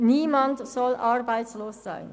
Niemand soll arbeitslos sein.